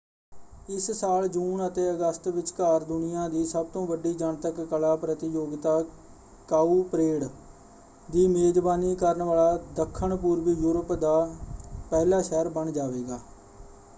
ਇਸ ਸਾਲ ਜੂਨ ਅਤੇ ਅਗਸਤ ਵਿਚਕਾਰ ਦੁਨੀਆ ਦੀ ਸਭ ਤੋਂ ਵੱਡੀ ਜਨਤਕ ਕਲਾ ਪ੍ਰਤੀਯੋਗਿਤਾ ਕਾਉਪਰੇਡ ਦੀ ਮੇਜਬਾਨੀ ਕਰਨ ਵਾਲਾ ਦੱਖਣ-ਪੂਰਬੀ ਯੂਰਪ ਦਾ ਪਹਿਲਾ ਸ਼ਹਿਰ ਬਣ ਜਾਵੇਗਾ।